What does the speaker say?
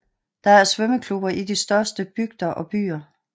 Der er svømmeklubber i de største bygder og byer